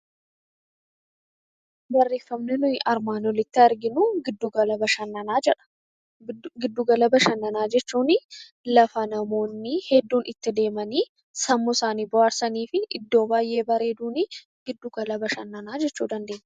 Giddu gala bashannanaa jechuun iddoo itti deemanii sammuu isaanii bashannansiisanii fi bakka baay'ee bareeduun giddu gala bashannanaa jechuunii dandeenya.